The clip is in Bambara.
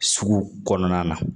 Sugu kɔnɔna na